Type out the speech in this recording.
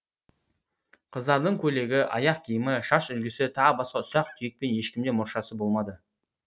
қыздардың көйлегі аяқ киімі шаш үлгісі тағы басқа ұсақ түйекпен ешкімде мұршасы болмады